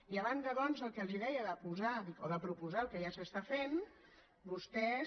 i a banda doncs del que els deia de posar o de proposar el que ja s’està fent vostès